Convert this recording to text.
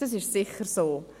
» Das ist sicher so.